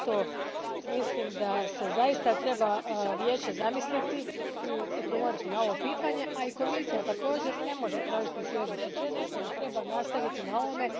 Zato mislim da se Vijeće treba zamisliti i odgovoriti na ovo pitanje, a i Komisija također ne može tražiti svježi početak, jer treba nastaviti na ovome.